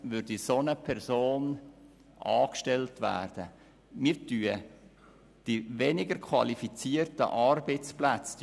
Auf diese Weise vernichten wir genau diese weniger qualifizierten Arbeitsplätze.